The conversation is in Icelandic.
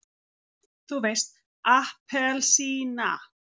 þú veist APPELSÍNA!